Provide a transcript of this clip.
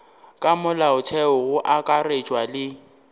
ka molaotheong go akaretšwa le